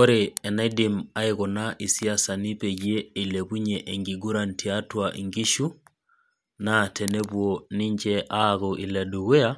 Ore eneidim isiasani aikuna peyie eilepunye enkiguran tiatua inkishu, naa tenepuo ninche aaku ile dukuya,